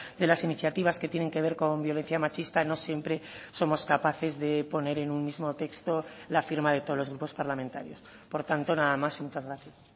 de las iniciativas que tienen que ver con violencia machista no siempre somos capaces de poner en un mismo texto la firma de todos los grupos parlamentarios por tanto nada más y muchas gracias